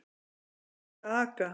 Að vera úti að aka